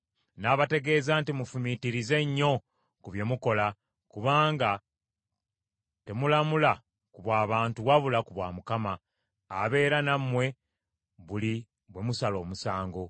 N’abategeeza nti, “Mufumiitirize nnyo ku bye mukola, kubanga temulamula ku bw’abantu wabula ku bwa Mukama , abeera nammwe buli bwe musala omusango.